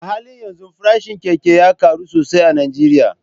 A halin yanzu farashin keke ya karu sosai a Najeriya